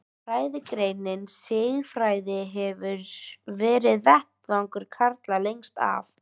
Fræðigreinin siðfræði hefur verið vettvangur karla lengst af.